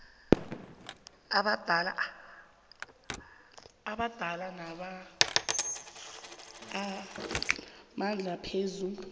amabandla anamandla phezu